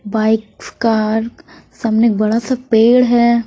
Bikes car सामने एक बड़ा सा पेड़ है।